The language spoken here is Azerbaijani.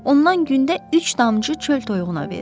Ondan gündə üç damcı çöl toyuğuna verir.